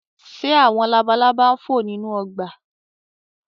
Ṣé àwọn labalaba ń fò nínú ọgbà?